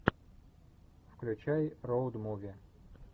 включай роуд муви